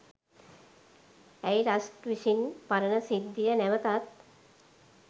ඇයි රස්ට් විසින් පරණ සිද්ධිය නැවතත්